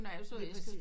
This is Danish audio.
Nørre Alslev